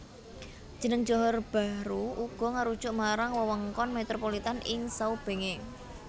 Jeneng Johor Bahru uga ngarujuk marang wewengkon metropolitan ing saubengé